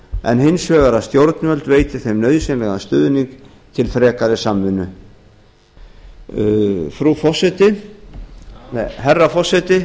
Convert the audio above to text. en hins vegar að stjórnvöld veiti þeim nauðsynlegan stuðning til frekari samvinnu herra forseti